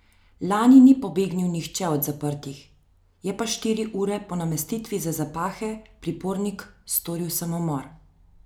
Lani ni pobegnil nihče od zaprtih, je pa štiri ure po namestitvi za zapahe pripornik storil samomor.